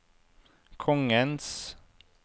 kongens